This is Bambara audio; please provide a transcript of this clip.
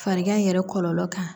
Farigan in yɛrɛ kɔlɔlɔ kan